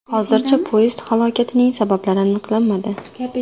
Hozircha poyezd halokatining sabablari aniqlanmadi.